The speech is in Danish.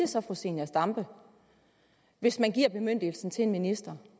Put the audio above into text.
så fru zenia stampe hvis man giver bemyndigelsen til en minister